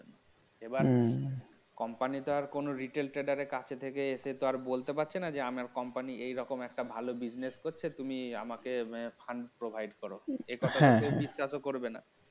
এবার competant তো আর কোনো retail trader এর কাছে থেকে এসে তো আর বলতে পারছি না যে আমার company এরকম একটা ভালো business করছে তুমি আমাকে আহ fund provide করো হ্যাঁ হ্যাঁ. এ কথা তো কেউ বিশ্বাস করবে না